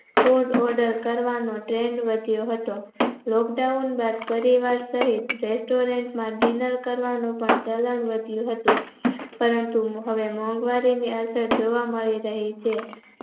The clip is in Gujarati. Fruit order કરવાનો trend વધ્યો હતો Lock down બાદ પરિવાર સહીત restaurant માં dinner કરવાનું પણ ચલણ વધ્યું હતું પરંતુ હવે મોધવારીની અસર જોવા મળી રહી છે.